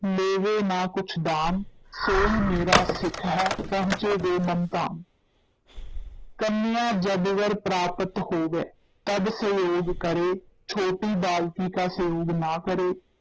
ਲੇਵੈ ਨਾ ਕੁਛ ਦਾਮ ਸੋਈ ਮੇਰਾ ਸਿੱਖ ਹੈ, ਪਹੁੰਚੇ ਗੋ ਮਮ ਧਾਮ ਕੰਨਯਾ ਜਬ ਵਰ ਪ੍ਰਾਪਤ ਹੋਵੇ ਤਬ ਸੰਯੋਗ ਕਰੇ, ਛੋਟੀ ਬਾਲਕੀ ਕਾ ਸੰਯੋਗ ਨਾ ਕਰੇ,